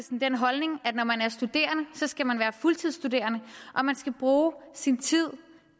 den holdning at når man er studerende skal man være fuldtidsstuderende og man skal bruge sin tid